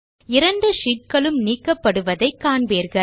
இரண்டு sheetகளும் நீக்கப்படுவதை காண்பீர்கள்